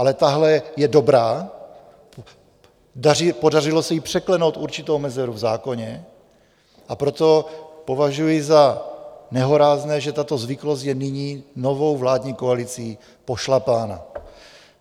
Ale tahle je dobrá, podařilo se jí překlenout určitou mezeru v zákoně, a proto považuji za nehorázné, že tato zvyklost je nyní novou vládní koalicí pošlapána.